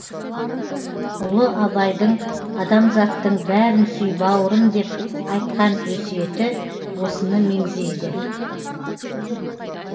ұлы абайдың адамзаттың бәрін сүй бауырым деп айтқан өсиеті осыны меңзейді